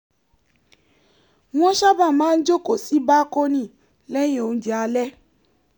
wọ́n sábà máa ń jókòó sí bákónì lẹ́yìn oúnjẹ alẹ́